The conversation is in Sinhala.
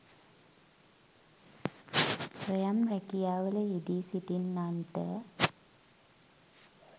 ස්වයං රැකියාවල යෙදී සිටින්නන්ට